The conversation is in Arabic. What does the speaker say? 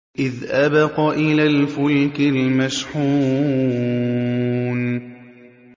إِذْ أَبَقَ إِلَى الْفُلْكِ الْمَشْحُونِ